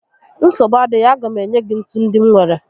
Nsogbu adịghị, a ga m enye gị ntu ndị m nwèrè